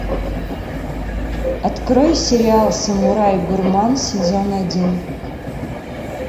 открой сериал самурай гурман сезон один